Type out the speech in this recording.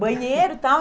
banheiro e tal.